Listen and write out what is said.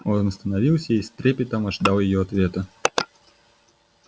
он остановился и с трепетом ожидал её ответа